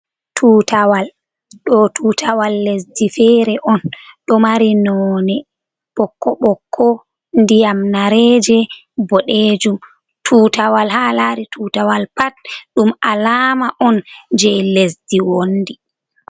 Tutawal, ɗo tutawal lesdi fere'on. Ɗo mari none ɓokko ɓokko ndiyam Nareje bodejum. Tutawal ha alari tutawal pat ɗum alama'on jei Lesdi wondi.